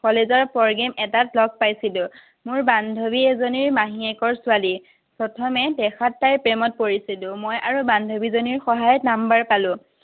college ৰ programme এটাত লগ পাইছিলো। মোৰ বান্ধৱী এজনীৰ মাহীয়েকৰ ছোৱালী। প্ৰথমে দেখাত তাইৰ প্ৰেমত পৰিছিলো। মই আৰু বান্ধৱীজনীৰ সহায়ত number পালো।